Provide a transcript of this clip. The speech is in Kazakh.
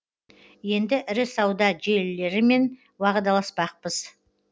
енді ірі сауда желілерімен уағдаласпақпыз